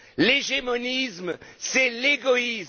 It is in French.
L'hégémonisme, c'est l'égoïsme!